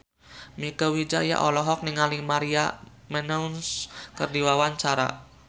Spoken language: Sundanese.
Mieke Wijaya olohok ningali Maria Menounos keur diwawancara